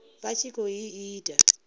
vha tshi khou i ita